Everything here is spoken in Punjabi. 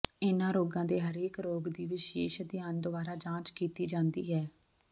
ਇਨ੍ਹਾਂ ਰੋਗਾਂ ਦੇ ਹਰੇਕ ਰੋਗ ਦੀ ਵਿਸ਼ੇਸ਼ ਅਧਿਐਨ ਦੁਆਰਾ ਜਾਂਚ ਕੀਤੀ ਜਾਂਦੀ ਹੈ